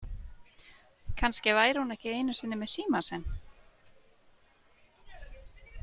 Kannski væri hún ekki einu sinni með símann sinn.